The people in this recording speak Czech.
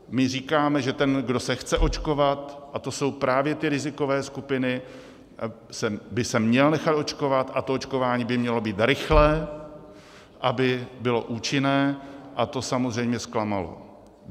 My říkáme, že ten, kdo se chce očkovat, a to jsou právě ty rizikové skupiny, by se měl nechat očkovat a to očkování by mělo být rychlé, aby bylo účinné, a to samozřejmě zklamalo.